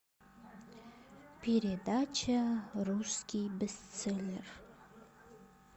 передача русский бестселлер